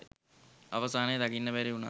අවසානය දකින්න බැරි උනත්